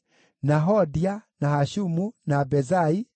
na Hodia, na Hashumu, na Bezai,